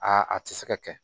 a tɛ se ka kɛ